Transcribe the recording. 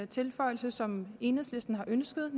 tilføjelse som enhedslisten har ønsket